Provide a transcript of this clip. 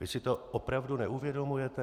Vy si to opravdu neuvědomujete?